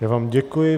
Já vám děkuji.